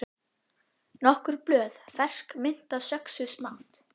Nokkur blöð fersk mynta söxuð smátt